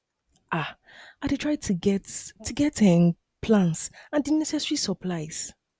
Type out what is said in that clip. um i dey try to get to get um plan and di necessary supplies